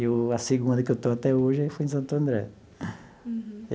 E a segunda que eu estou até hoje foi em Santo André. Uhum.